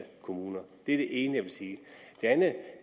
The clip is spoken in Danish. kommuner det er det ene jeg vil sige